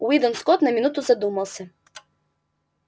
уидон скотт на минуту задумался